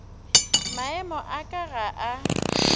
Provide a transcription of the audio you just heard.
maemo a ka ga a